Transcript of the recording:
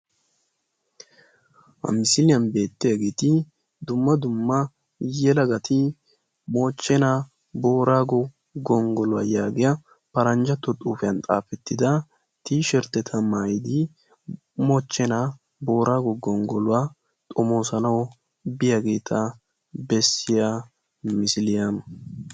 Ha misiliyan beetiyageti dumma dumma yeelagati mochchena boorago gonggoluwaa yaagiya paranjjatto xuufiyan xaafettida tisherteta maayidi mochchenna boorago gonggoluwaa xoomosanawu biyageta beesiya misiliyaa.